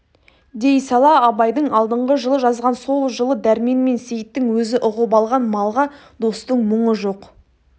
дей сала абайдың алдыңғы жылы жазған сол жылы дәрмен мен сейіттің өзі ұғып алған малға достың мұңы жоқ